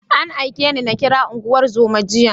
An aike ni na kira unguwar zoman jiya.